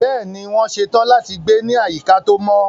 Bẹ́ẹ̀ni, wọ́n ṣe tán láti gbé ní àyíká tó mọ́.